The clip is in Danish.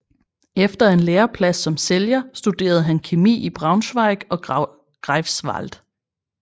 Efter en læreplads som sælger studerede han kemi i Braunschweig og Greifswald